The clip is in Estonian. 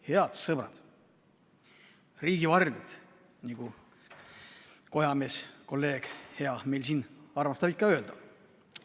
Head sõbrad, riigi vardjad, nagu Kojamees, hea kolleeg, meil siin armastab ikka öelda.